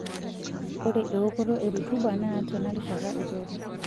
Ore eokoto e rutuba naa tena rishata eiteru.